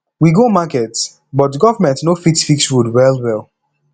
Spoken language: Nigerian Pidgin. we go market but government no fit fix road well well